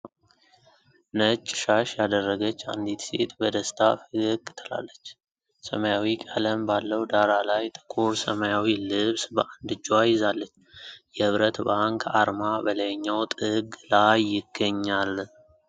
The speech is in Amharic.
ነጭ ሻሽ ያደረገች አንዲት ሴት በደስታ ፈገግ ትላለች። ሰማያዊ ቀለም ባለው ዳራ ላይ፣ ጥቁር ሰማያዊ ልብስ በአንድ እጇ ይዛለች። የኅብረት ባንክ አርማ በላይኛው ጥግ ላይ ይገኛል።